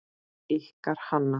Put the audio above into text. Ykkar Hanna.